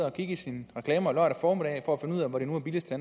og kigge i sine reklamer lørdag formiddag for